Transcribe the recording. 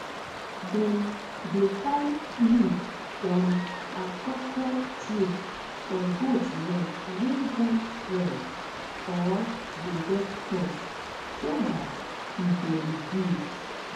dem dey tie leaf from akoko tree for goat leg wey don swell or dey get pus so dat e go reduce